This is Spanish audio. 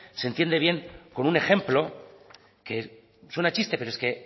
se entiende bien con un ejemplo que suena a chiste pero